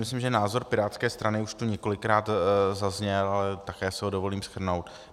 Myslím, že názor pirátské strany už tu několikrát zazněl, ale také si ho dovolím shrnout.